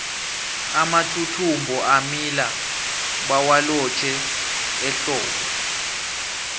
amathuthumbo amila bawalotjhe ehlobo